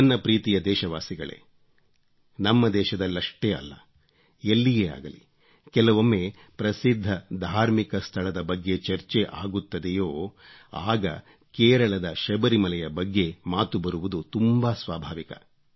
ನನ್ನ ಪ್ರೀತಿಯ ದೇಶವಾಸಿಗಳೇ ನಮ್ಮ ದೇಶದಲ್ಲಷ್ಟೇ ಅಲ್ಲ ಎಲ್ಲಿಯೇ ಅಗಲಿ ಕೆಲವೊಮ್ಮೆ ಪ್ರಸಿದ್ಧ ಧಾರ್ಮಿಕ ಸ್ಥಳದ ಬಗ್ಗೆ ಚರ್ಚೆ ಆಗುತ್ತದೆಯೋ ಆಗ ಕೇರಳದ ಶಬರಿಮಲೆಯ ಬಗ್ಗೆ ಮಾತು ಬರುವುದು ತುಂಬಾ ಸ್ವಾಭಾವಿಕ